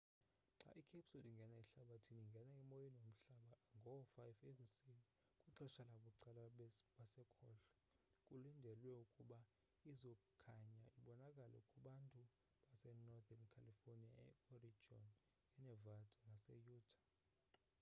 xa icapsule ingena ehlabathini ingene emoyeni womhlaba ngaboo 5 ekuseni kwixesha labucala basekhohlo kulindelwe ukuba izokhanya ibonakale kwabantu base-northen california e-oregon e-nevada nase-utah